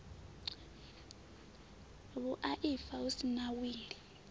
vhuaifa hu si na wili